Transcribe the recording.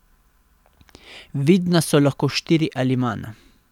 Vidna so lahko štiri ali manj.